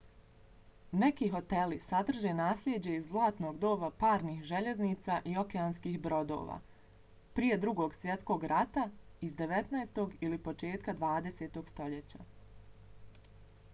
neki hoteli sadrže naslijeđe iz zlatnog doba parnih željeznica i okeanskih brodova – prije drugog svjetskog rata iz 19. ili početka 20. stoljeća